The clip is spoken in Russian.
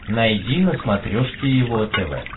найди на смотрешке его тв